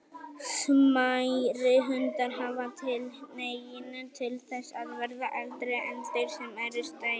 Smærri hundar hafa tilhneigingu til þess að verða eldri en þeir sem eru stærri.